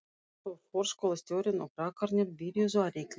Svo fór skólastjórinn og krakkarnir byrjuðu að reikna.